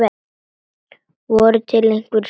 Voru til einhver svör?